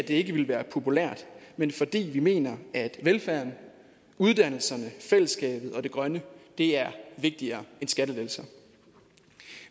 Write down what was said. ikke ville være populært men fordi vi mener at velfærden uddannelserne fællesskabet og det grønne er vigtigere end skattelettelser